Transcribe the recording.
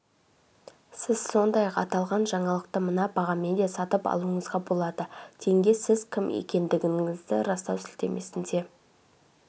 сіз сондай-ақ аталған жаңалықты мына бағамен де сатып алуыңызға болады тенге сіз кім екендігіңізді растау сілтемесіне